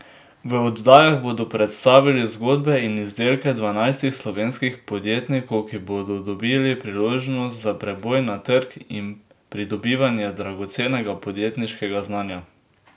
V oddajah bodo predstavili zgodbe in izdelke dvanajstih slovenskih podjetnikov, ki bodo dobili priložnost za preboj na trg in pridobivanje dragocenega podjetniškega znanja.